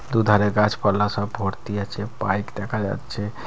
দুধারে গাছপালা সব ভর্তি আছে বাইক দেখা যাচ্ছে।